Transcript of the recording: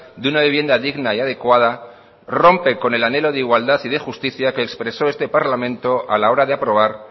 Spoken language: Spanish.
de una vivienda digna y adecuada rompe con el anhelo de igualdad y de justicia que expresó este parlamento a la hora de aprobar